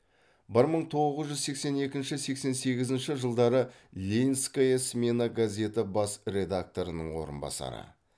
бір мың тоғыз жүз сексен екінші сексен сегізінші жылдары ленинская смена газеті бас редакторының орынбасары